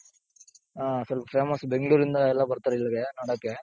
ಹ ಸ್ವಲ್ಪ famous ಬೆಂಗಳೂರಿಂದ ಎಲ್ಲಾ ಬರ್ತಾರೆ ಇಲ್ಲಿಗೆ ನೋಡೋಕೆ.